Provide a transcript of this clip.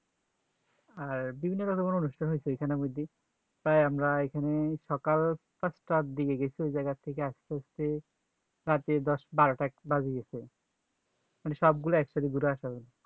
আর বিভিন্ন রকমের অনুষ্ঠান হইছে এইখানে মধ্যে তাই আমরা এখানে সকাল পাঁচ তার দিকে গেছি ওই জায়গা থেকে আস্তে হয়েছে রাতে দশ বারোটা একটা বেজে গেছে মানে সব গুলা একসাথে ঘুরে আসা হলো